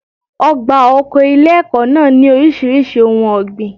Ọgbà oko ilé ẹ̀kọ́ náà ní oríṣiríṣi ohun ọ̀gbìn.